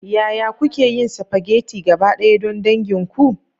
Yaya kuke yin spaghetti gabaɗaya don dangin ku?